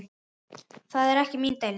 Það er ekki mín deild.